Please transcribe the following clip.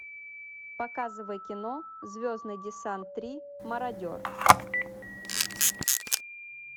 показывай кино звездный десант три мародер